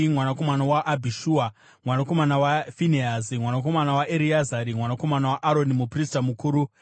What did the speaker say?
mwanakomana waAbhishua, mwanakomana waFinehasi, mwanakomana waEreazari, mwanakomana waAroni muprista mukuru,